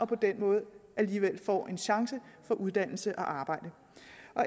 på den måde alligevel får en chance for uddannelse og arbejde